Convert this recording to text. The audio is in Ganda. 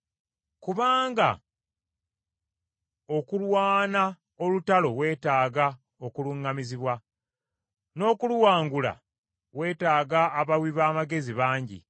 Kubanga okulwana olutalo weetaaga okuluŋŋamizibwa, n’okuluwangula, weetaaga abawi b’amagezi bangi.